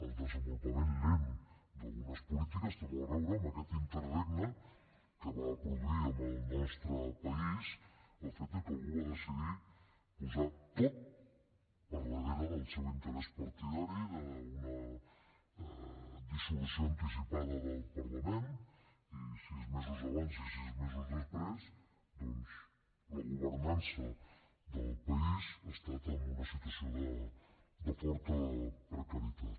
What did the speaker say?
el desenvolupament lent d’algunes polítiques té molt a veure amb aquest interregne que va produir al nostre país el fet que algú va decidir posar ho tot per darrere del seu interès partidari d’una dissolució anticipada del parlament i sis mesos abans i sis mesos després doncs la governança del país ha estat en una situació de forta precarietat